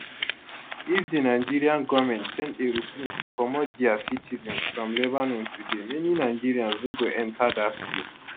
if di nigerian goment send aeroplane to comot dia citizens from lebanon today many nigerians no go enta dat plane